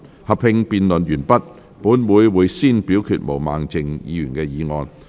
合併辯論完畢後，本會會先表決毛孟靜議員的議案。